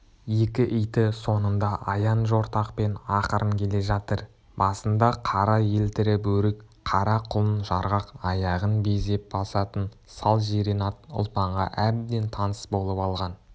екі иті соңында аяң-жортақпен ақырын келе жатыр басында қара елтірі бөрік қара құлын жарғақ аяғын безеп басатын сал жирен ат ұлпанға әбден таныс болып алған